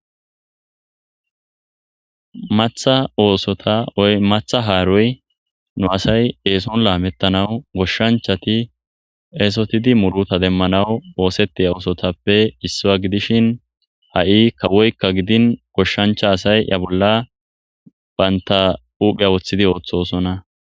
Matha oosota woy matha haaroy nu asay eeson laamettanawu goshshanchati eesotidi muruta demmanaw oosettiya oosotappe issuwa gidishin ha'i kawoykka gidin goshshancha asay ya bolla baynta uphea woththidi ooththosona